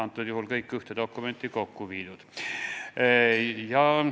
Nüüd on kõik ühte dokumenti kokku viidud.